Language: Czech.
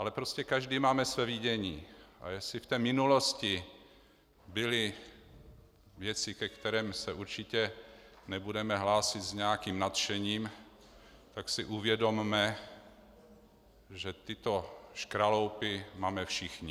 Ale prostě každý máme své vidění, a jestli v té minulosti byly věci, ke kterým se určitě nebudeme hlásit s nějakým nadšením, tak si uvědomme, že tyto škraloupy máme všichni.